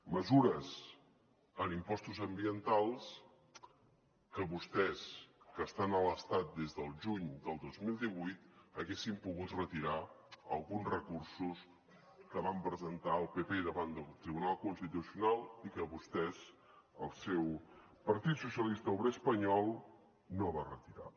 mesures en impostos ambientals que vostès que estan a l’estat des del juny del dos mil divuit haurien pogut retirar alguns recursos que va presentar el pp davant del tribunal constitucional i que vostès el seu partit socialista obrer espanyol no va retirar